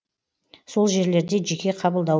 сол жерлерде жеке қабылдау